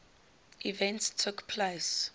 events took place